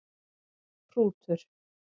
Hrútur